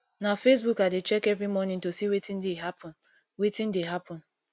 na facebook i dey check every morning to see wetin dey happen wetin dey happen